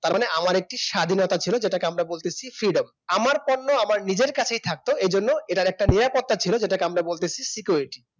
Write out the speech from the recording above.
তার মানে আমার একটি স্বাধীনতা ছিল যেটাকে আমরা বলতেছি freedom আমার পণ্য আমার নিজের কাছেই থাকতো এজন্য এটার একটা নিরাপত্তা ছিল যেটাকে আমরা বলতেছি security